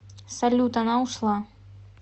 салют она ушла